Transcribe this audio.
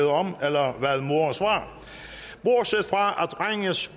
om eller hvad moren svarer bortset fra at drengens